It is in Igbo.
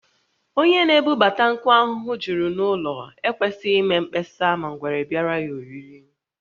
Onye na-ebubata nkụ ahụhụ juru n’ụlọ ekwesịghị ime mkpesa ma ngwere biara ya oriri